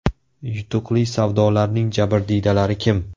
Yutuqli savdolarning jabrdiydalari kim?